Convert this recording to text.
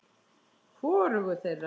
Hvorugu þeirra.